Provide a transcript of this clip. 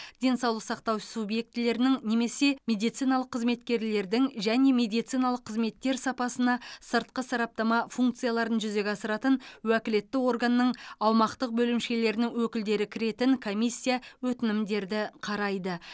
денсаулық сақтау субъектілерінің немесе медициналық қызметкерлердің және медициналық қызметтер сапасына сыртқы сараптама функцияларын жүзеге асыратын уәкілетті органның аумақтық бөлімшелерінің өкілдері кіретін комиссия өтінімдерді қарайды